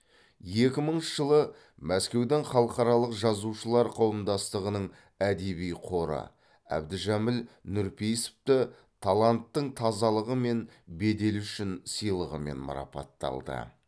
екі мыңыншы жылы мәскеудің халықаралық жазушылар қауымдастығының әдеби қоры әбдіжәміл нұрпейісовті таланттың тазалығы мен беделі үшін сыйлығымен мараппатталды